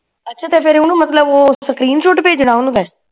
ਅੱਛਾ ਤੇ ਫੇਰ ਓਹਨੂੰ ਮਤਲਬ ਉਹ screenshot ਭੇਜਣਾ ਓਹਨੂੰ ਮੈਂ